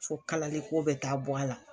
Fo kalali ko bɛ taa bɔ a la.